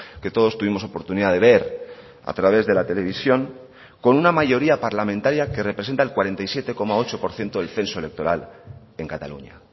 que todos tuvimos oportunidad de ver a través de la televisión con una mayoría parlamentaria que representa el cuarenta y siete coma ocho por ciento del censo electoral en cataluña